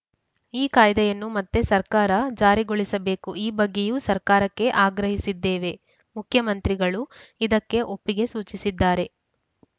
ಈ ಕಾಯ್ದೆಯನ್ನು ಮತ್ತೆ ಸರ್ಕಾರ ಜಾರಿಗೊಳಿಸಬೇಕು ಈ ಬಗ್ಗೆಯೂ ಸರ್ಕಾರಕ್ಕೆ ಆಗ್ರಹಿಸಿದ್ದೇವೆ ಮುಖ್ಯಮಂತ್ರಿಗಳು ಇದಕ್ಕೆ ಒಪ್ಪಿಗೆ ಸೂಚಿಸಿದ್ದಾರೆ